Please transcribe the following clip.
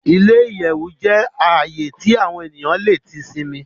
Ile-iyẹwu jẹ ààyè tí awọn eniyan tí le sinmi